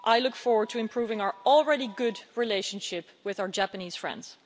I look forward to improving our already good relationship with our Japanese friends.